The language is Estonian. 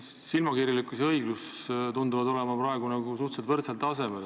Silmakirjalikkus ja õiglus tunduvad olevat praegu suhteliselt võrdsel tasemel.